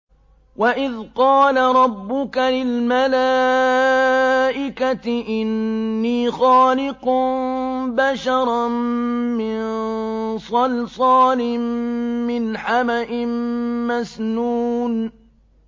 وَإِذْ قَالَ رَبُّكَ لِلْمَلَائِكَةِ إِنِّي خَالِقٌ بَشَرًا مِّن صَلْصَالٍ مِّنْ حَمَإٍ مَّسْنُونٍ